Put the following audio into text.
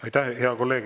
Aitäh!